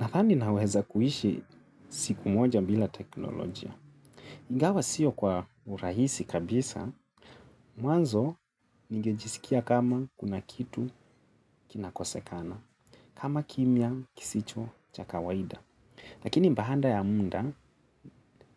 Nadhani naweza kuishi siku moja bila teknolojia. Ingawa siyo kwa urahisi kabisa, mwanzo ningejisikia kama kuna kitu kinakosekana, kama kimya kisicho cha kawaida. Lakini mbahanda ya munda,